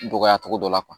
Dɔgɔya cogo dɔ la